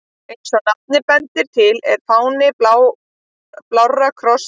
Eins og nafnið bendir til er fáninn blár kross á hvítum fleti.